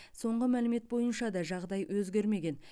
соңғы мәлімет бойынша да жағдай өзгермеген